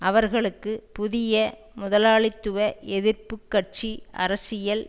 அவர்களுக்கு புதிய முதலாளித்துவ எதிர்ப்பு கட்சி அரசியல்